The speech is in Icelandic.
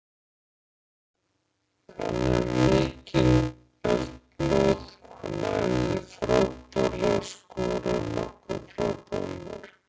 Hann hefur mikinn eldmóð, hann æfði frábærlega og skoraði nokkur frábær mörk.